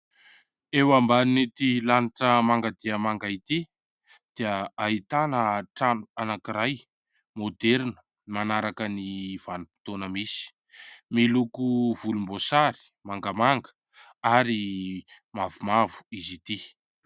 Eo ambanin'ity lanitra manga dia manga ity dia ahitana trano anankiray môderina manaraka ny vanim-potoana. Misy miloko volomboasary, mangamanga ary mavomavo izy ity.